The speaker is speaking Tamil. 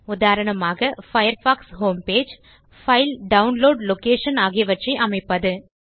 உதாரணமாக Firefox home page file download location ஆகியவற்றை அமைப்பது